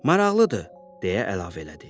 Maraqlıdır, deyə əlavə elədi.